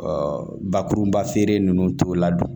bakurunba feere nunnu t'o la dun